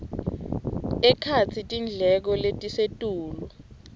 ekhatsi tindleko letisetulu